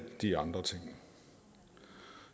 de andre ting